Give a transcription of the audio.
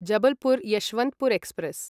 Jabalpur Yesvantpur express